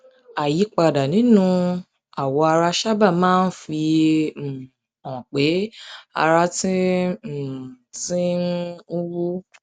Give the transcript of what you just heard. àyípadà nínú àwọ ara sábà máa ń fi um hàn pé ara ti um ti um ń wú